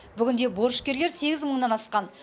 бүгінде борышкерлер сегіз мыңнан асқан